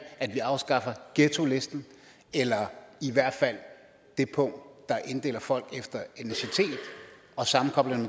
at vi afskaffer ghettolisten eller i hvert fald det punkt der inddeler folk efter etnicitet og sammenkobler dem